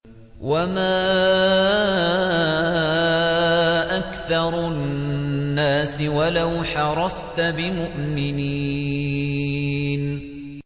وَمَا أَكْثَرُ النَّاسِ وَلَوْ حَرَصْتَ بِمُؤْمِنِينَ